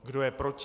Kdo je proti?